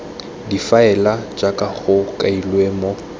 difaele jaaka go kailwe mo